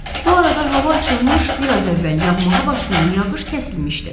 Bu arada hava açılmış, biraz əvvəl yağmağa başlayan yağış kəsilmişdi.